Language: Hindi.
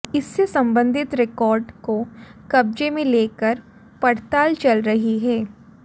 इससे संबंधित रिकॉर्ड को कब्जे में लेकर पड़ताल चल रही है